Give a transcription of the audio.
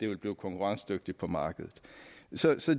vil blive konkurrencedygtigt på markedet så